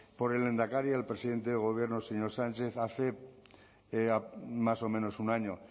por el lehendakari al presidente de gobierno el señor sánchez hace más o menos un año